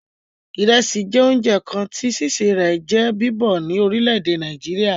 Ìrẹsì jẹ́ oúnjẹ kan tí sísè rẹ̀ jẹ́ bíbọ̀ ní orílè èdè Nàìjíríà